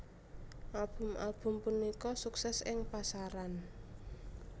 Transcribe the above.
Album album punika sukses ing pasaran